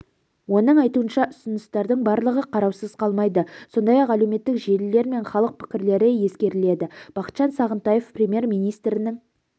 оның айтуынша ұсыныстардың барлығы қараусыз қалмайды сондай-ақ әлеуметтік желілер мен халық пікірлері ескеріледі бақытжан сағынтаев премьер-министрінің